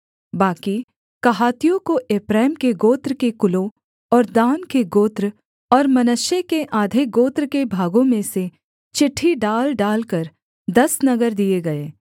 बाकी कहातियों को एप्रैम के गोत्र के कुलों और दान के गोत्र और मनश्शे के आधे गोत्र के भागों में से चिट्ठी डाल डालकर दस नगर दिए गए